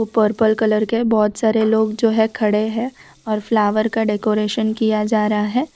Purple colour के बहोत सारे लोग जो है खड़े हैं और फ्लावर का डेकोरेशन किया जा रहा है।